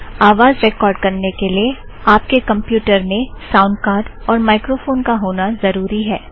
आवाज़ रेकॉर्ड़ करने के लिए आप के कमप्युटर में साऊंड़ कार्ड़ और माइक्रोफ़ोन का होना ज़रुरी है